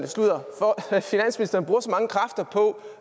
mange kræfter på